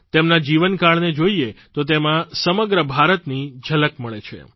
તેમના જીવનકાળને જોઇએ તો તેમાં સમગ્ર ભારતની ઝલક મળે છે